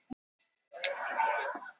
Þú ert hvínandi illur.